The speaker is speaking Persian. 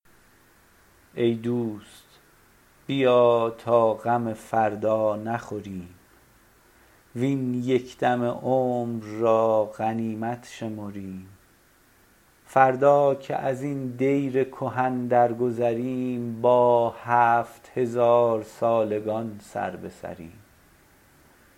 ای دوست بیا تا غم فردا نخوریم وین یک دم عمر را غنیمت شمریم فردا که ازین دیر کهن درگذریم با هفت هزارسالگان سر به سریم